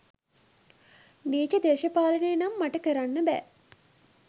නීච දේශපාලනය නම් මට කරන්න බෑ.